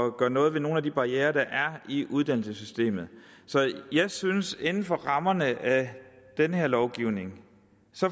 at gøre noget ved nogle af de barrierer der er i uddannelsessystemet så jeg synes at vi inden for rammerne af den her lovgivning